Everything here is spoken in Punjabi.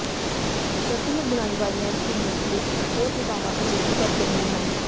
ਸਰਕੂਲਰ ਬੁਣਾਈ ਵਾਲੀਆਂ ਸੂਈਆਂ ਤੇ ਹੋਰ ਲੁਕਾਵਾਂ ਅਜੇ ਵੀ ਵਰਤੇ ਨਹੀਂ ਹਨ